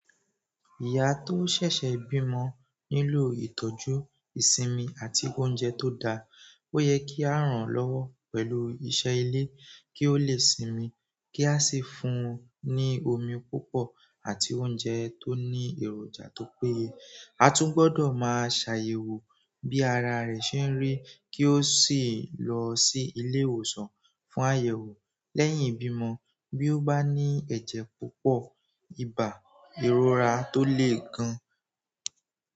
Ìyá tó ṣẹ̀ṣẹ̀ bímọ nílò ìtọ́jú ìsinmi àti òúnjẹ tó dáà. Ó yẹ kí à rán-án lọ́wọ́ pẹ̀lú iṣẹ́ ilé kí ó lè sinmi, kí à sì fún-un ní omi púpọ̀ àti oúnjẹ tó ní èròjà tó péyè. A tún gbọdọ̀ máa ṣàyẹ̀wò bí àrà rẹ̀ ṣe ń rí kí ó sì lọ sí ilé ìwòsàn fún àyẹ̀wò lẹ́yìn ìbímọ bí ó bá ní ẹ̀jẹ̀ púpọ̀, ibà, ìròrà tó lè gan.